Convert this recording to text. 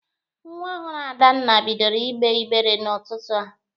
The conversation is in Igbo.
Nwa ọhụrụ Adanna bidoro ịgbe ịgbere n'ụtụtụ a.